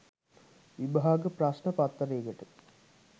විභාග ප්‍රශ්ණ පත්තරේකට